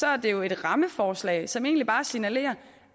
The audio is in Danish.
er det jo et rammeforslag som egentlig bare signalerer